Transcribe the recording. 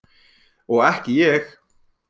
Og ekki ég!